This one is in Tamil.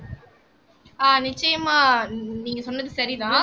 ஆஹ் நிச்சயமா நீங்க சொன்னது சரிதான்